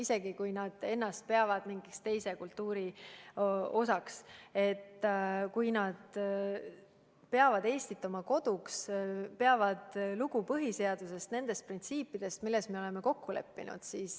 Ka siis, kui inimesed peavad ennast mingi teise kultuuri osaks, peavad nad Eestit oma koduks, peavad lugu põhiseadusest, nendest printsiipidest, milles me oleme kokku leppinud.